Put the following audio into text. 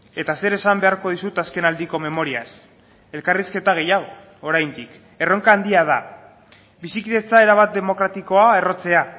eta zer esan beharko dizut azken aldiko memoriaz elkarrizketa gehiago oraindik erronka handia da bizikidetza erabat demokratikoa errotzea